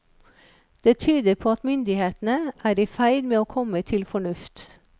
Det tyder på at myndighetene er i ferd med å komme til fornuft.